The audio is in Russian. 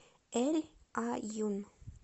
эль аюн